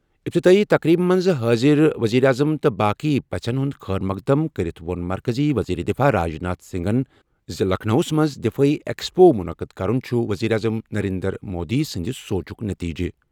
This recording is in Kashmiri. افتِتٲحی تقریٖبہِ منٛز حٲضِر ؤزیٖر اعظم تہٕ باقٕے پَژھیٚن ہُنٛد خیرمقدم کٔرِتھ ووٚن مرکٔزی ؤزیٖر دِفاع راجناتھ سِنٛگھن زِ لَکھنَوَس منٛز دِفٲعی ایٚکسپو مُنعقد کرُن چُھ ؤزیٖر اعظم نَرینٛدر مودی سٕنٛزِ سونچُک نٔتیٖجہٕ۔